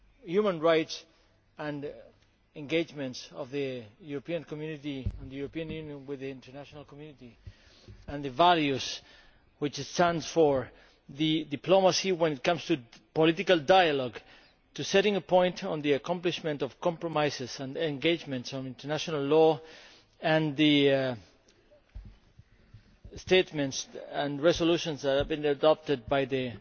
human rights and engagement of the European Union within the international community and the values which it stands for, the diplomacy when it comes to political dialogue, to setting a point on the accomplishment of compromises and engagement on international law, and the statements and resolutions that have been adopted by the